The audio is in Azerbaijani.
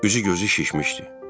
Üzü gözü şişmişdi.